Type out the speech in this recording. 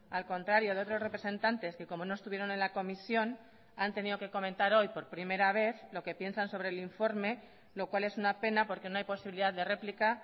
al contrario de otros representantes que como no estuvieron en la comisión han tenido que comentar hoy por primera vez lo que piensan sobre el informe lo cual es una pena porque no hay posibilidad de réplica